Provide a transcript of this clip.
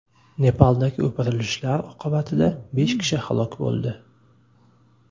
Nepaldagi o‘pirilishlar oqibatida besh kishi halok bo‘ldi .